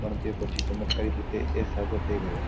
પણ તે પછી ચમત્કારી રીતે એ સાચો થઇ ગયો